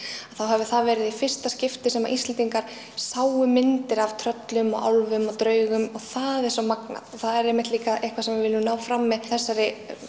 hafi það verið í fyrsta skipti sem Íslendingar sáu myndir af tröllum álfum og draugum og það er svo magnað það er einmitt líka eitthvað sem við viljum ná fram með þessari